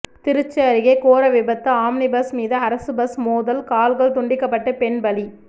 திருச்சி அருகே கோர விபத்து ஆம்னி பஸ் மீது அரசு பஸ் மோதல் கால்கள் துண்டிக்கப்பட்டு பெண் பலி